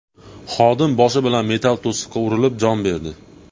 Xodim boshi bilan metall to‘siqqa urilib, jon berdi.